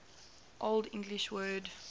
old english word